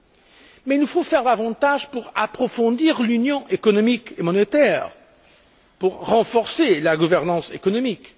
Cependant, il nous faut faire davantage pour approfondir l'Union économique et monétaire, pour renforcer la gouvernance économique.